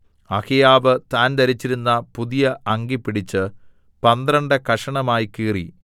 അഹിയാവ് താൻ ധരിച്ചിരുന്ന പുതിയ അങ്കി പിടിച്ച് പന്ത്രണ്ട് കഷണമായി കീറി